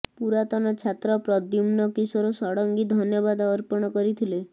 ପୁରାତନ ଛାତ୍ର ପ୍ରଦ୍ୟୁମ୍ନ କିଶୋର ଷଢ଼ଙ୍ଗୀ ଧନ୍ୟବାଦ ଅର୍ପଣ କରିଥିଲେ